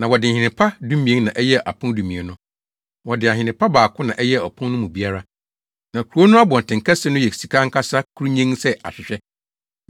Na wɔde nhene pa dumien na ɛyɛɛ apon dumien no. Wɔde ahene pa baako na ɛyɛɛ apon no mu biara. Na kurow no abɔntenkɛse no yɛ sika ankasa, kurunnyenn sɛ ahwehwɛ.